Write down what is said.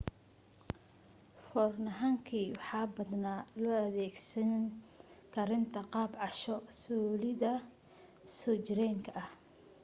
foorno hangi waxaa badanaa loo adeegsadaa karinta qaab casho soolidda soo jireenka ah